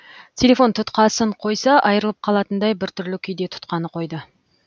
телефон тұтқасын қойса айырылып қалатындай біртүрлі күйде тұтқаны қойды